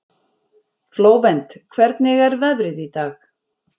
Flóvent, hvernig er veðrið í dag?